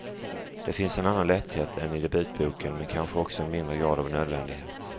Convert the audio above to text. Där finns en annan lätthet än i debutboken, men kanske också en mindre grad av nödvändighet.